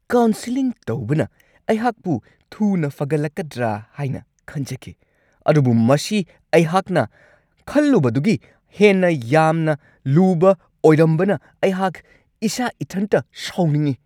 Counselling ꯇꯧꯕꯅ ꯑꯩꯍꯥꯛꯄꯨ ꯊꯨꯅ ꯐꯒꯠꯂꯛꯀꯗ꯭ꯔꯥ ꯍꯥꯏꯅ ꯈꯟꯖꯈꯤ, ꯑꯗꯨꯕꯨ ꯃꯁꯤ ꯑꯩꯍꯥꯛꯅ ꯈꯜꯂꯨꯕꯗꯨꯒꯤ ꯍꯦꯟꯅ ꯌꯥꯝꯅ ꯂꯨꯕ ꯑꯣꯏꯔꯝꯕꯅ ꯑꯩꯍꯥꯛ ꯏꯁꯥ ꯢꯊꯟꯇ ꯁꯥꯎꯅꯤꯡꯉꯤ ꯫